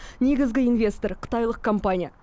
негізгі инвестор қытайлық компания